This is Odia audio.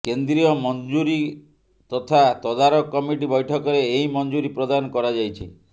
କେନ୍ଦ୍ରୀୟ ମଞ୍ଜୁରୀ ତଥା ତଦାରଖ କମିଟି ବୈଠକରେ ଏହି ମଞ୍ଜୁରୀ ପ୍ରଦାନ କରାଯାଇଛି